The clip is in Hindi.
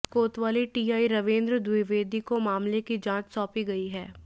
कोतवाली टीआई रावेन्द्र द्विवेदी को मामले की जांच सौंपी गई है